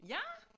Ja